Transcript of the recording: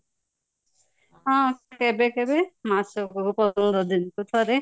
ହଁ କେବେ କେବେ ମାସକୁ ପନ୍ଦର ଦିନ କୁ ଥରେ